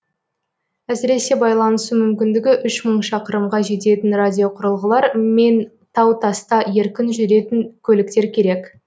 әсіресе байланысу мүмкіндігі үш мың шақырымға жететін радиоқұрылғылар мен тау таста еркін жүретін көліктер керек